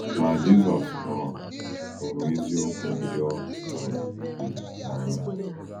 Ma Jisọs hụrụ hụrụ eziokwu ndị ọ um kụziri n’anya.